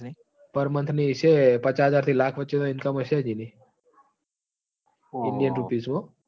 parmounth હશે પાચા હાજર થી લાખ વચે ની imcom હશે એની india રુપીજ મો હો